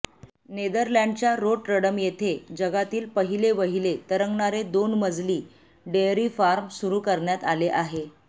नेदरलँडच्या Rotterdam येथे जगातील पहिलेवहिले तरंगणारे दोन मजली डेअरी फार्म सुरू करण्यात आले आहे